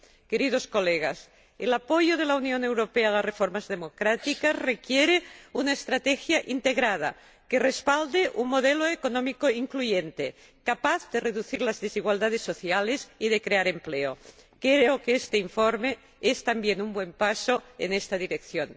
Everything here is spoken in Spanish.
Queridos colegas, el apoyo de la Unión Europea a las reformas democráticas requiere una estrategia integrada que respalde un modelo económico incluyente, capaz de reducir las desigualdades sociales y de crear empleo. Creo que este informe es también un buen paso en esta dirección